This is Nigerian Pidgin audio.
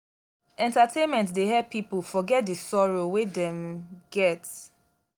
entertainment dey help pipo forget di sorrow wey dem get.